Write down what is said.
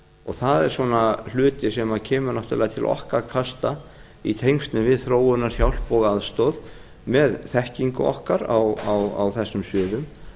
það er hluti sem kemur náttúrlega til okkar kasta í tengslum við þróunarhjálp og aðstoð með þekkingu okkar á þessum